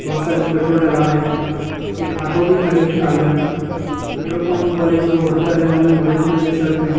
बहोत सारे लोग पेट्रोल डला रहे हैं एक ऑटो भी खड़ी है काले रंग का पेट्रोल पंप वाले जो वर्कर है उन्होंने ऑरेंज कलर की शर्ट पेहनी--